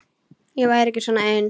Ég væri ekki svona ein.